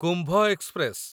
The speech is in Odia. କୁମ୍ଭ ଏକ୍ସପ୍ରେସ